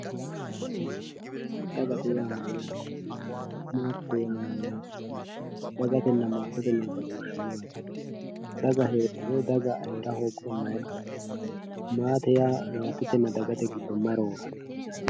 daganna maate dagate yaa mayyaate maatete yaa mayyaate dagatenna maatete noo badooshshi maati daga heedhuro daga heera hoogguro may qarri no maate yaa maatetenna dagate giddo may rooranno